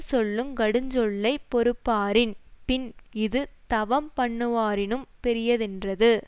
சொல்லுங் கடுஞ்சொல்லைப் பொறுப்பாரின் பின் இது தவம் பண்ணுவாரினும் பெரியதென்றது